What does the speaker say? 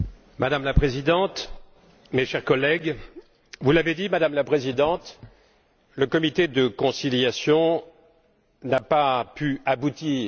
Madame la Présidente, mes chers collègues, vous l'avez dit, Madame la Présidente le comité de conciliation n'a pas pu aboutir.